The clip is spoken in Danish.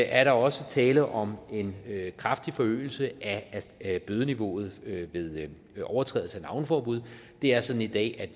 er der også tale om en kraftig forøgelse af bødeniveauet ved overtrædelse af navneforbud det er sådan i dag